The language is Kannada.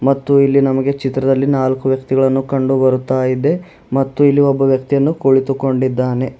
ಮತ್ತು ಇಲ್ಲಿ ನಮಗೆ ಚಿತ್ರದಲ್ಲಿ ನಾಲ್ಕು ವ್ಯಕ್ತಿಗಳನ್ನು ಕಂಡು ಬರುತ್ತಾ ಇದೆ ಮತ್ತು ಇಲ್ಲಿ ಒಬ್ಬ ವ್ಯಕ್ತಿಯನ್ನು ಕುಳಿತುಕೊಂಡಿದ್ದಾನೆ.